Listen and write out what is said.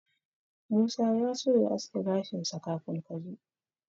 Musa ya so ya aske gashinsa kafin ka zo.